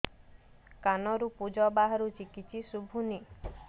କାନରୁ ପୂଜ ବାହାରୁଛି କିଛି ଶୁଭୁନି